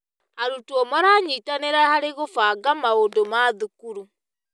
Arutwo maranyitanĩra harĩ gũbanga maũndũ ma thukuru.